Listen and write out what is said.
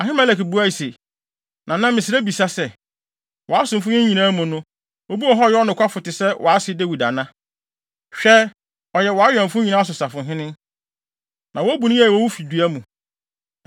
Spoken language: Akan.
Ahimelek buae se, “Nana, mesrɛ mibisa sɛ, wʼasomfo yi nyinaa mu no, obi wɔ hɔ a ɔyɛ nokwafo te sɛ wʼase Dawid ana? Hwɛ ɔyɛ wʼawɛmfo nyinaa so safohene, na wobu no yiye wɔ wo fidua mu.